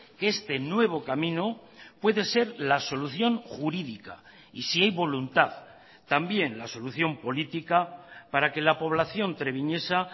que este nuevo camino puede ser la solución jurídica y si hay voluntad también la solución política para que la población treviñesa